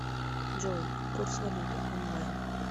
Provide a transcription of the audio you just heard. джой курс валюты онлайн